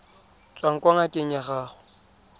tswang kwa ngakeng ya gago